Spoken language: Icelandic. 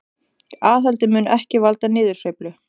Aðhaldið mun ekki valda niðursveiflu